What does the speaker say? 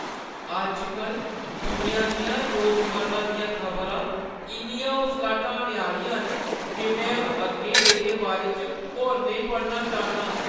अज्ज-कल दुनिया दियां रोजमर्रा दियां खबरां इन्नियां हौसला ढाने आह्‌लियां न जे में हून अग्गें एह्‌दे बारे च होर नेईं पढ़ना चाह्न्नां।